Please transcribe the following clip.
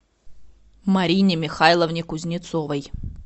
марине михайловне кузнецовой